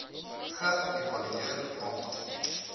ge evalueer aantal